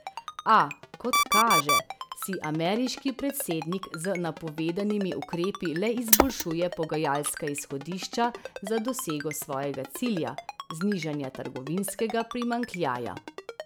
A, kot kaže, si ameriški predsednik z napovedanimi ukrepi le izboljšuje pogajalska izhodišča za dosego svojega cilja, znižanja trgovinskega primanjkljaja.